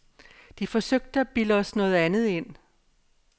De forsøgte at bilde os noget andet ind.